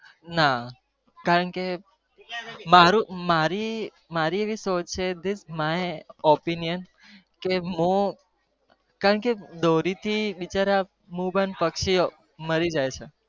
ના કારણ કે મારું મારી સોચ opinian કે મુ દોરી થી બિચારા પક્ષી ઓ મેઇ જાય